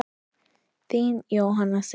Þín, Jóhanna Sif.